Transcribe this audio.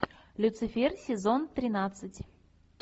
люцифер сезон тринадцать